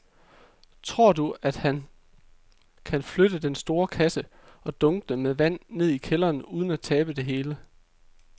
Tror du, at han kan flytte den store kasse og dunkene med vand ned i kælderen uden at tabe det hele?